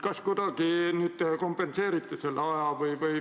Kas te kuidagi kompenseerite selle aja?